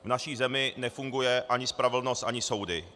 V naší zemi nefunguje ani spravedlnost, ani soudy.